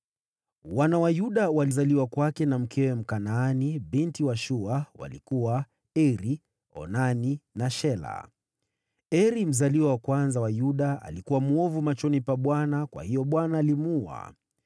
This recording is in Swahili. Wana wa Yuda walikuwa: Eri, Onani na Shela. Hawa watatu walizaliwa kwake na mkewe Mkanaani, binti wa Shua. Eri, mzaliwa wa kwanza wa Yuda, alikuwa mwovu machoni pa Bwana , kwa hiyo Bwana alimuua.